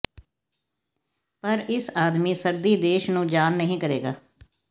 ਪਰ ਇਸ ਆਦਮੀ ਸਰਦੀ ਦੇਸ਼ ਨੂੰ ਜਾਣ ਨਹੀ ਕਰੇਗਾ